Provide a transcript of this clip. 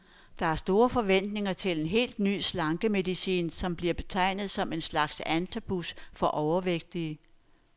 Der er store forventninger til en helt ny slankemedicin, som bliver betegnet som en slags antabus for overvægtige.